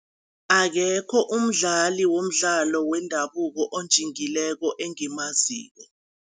Akekho umdlali womdlalo wendabuko onjingileko engimaziko.